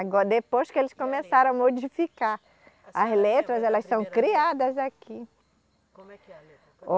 Agora, depois que eles começaram a modificar as letras, elas são criadas aqui. Como é que é a letra